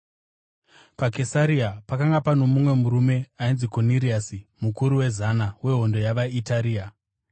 PaKesaria pakanga pano mumwe murume ainzi Koniriasi, mukuru wezana weHondo yavaItaria.